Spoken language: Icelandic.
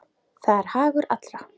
Það er hagur allra.